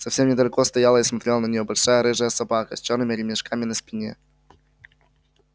совсем недалеко стояла и смотрела на нее большая рыжая собака с чёрными ремешками на спине